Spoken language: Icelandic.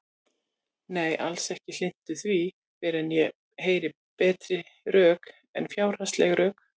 Nei, alls ekki hlynntur því fyrr en ég heyri betri rök en fjárhagsleg rök.